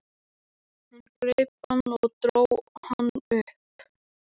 Verður- ef maður vill halda áfram að lifa.